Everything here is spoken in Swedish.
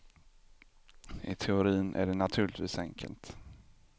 I teorin är det naturligtvis enkelt.